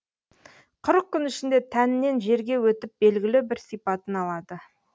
қырық күн ішінде тәннен жерге өтіп белгілі бір сипатын алады